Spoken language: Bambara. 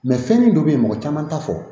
fɛn min dɔ bɛ yen mɔgɔ caman t'a fɔ